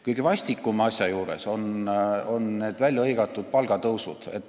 Kõige vastikumad selle asja juures on need väljahõigatud palgatõusud.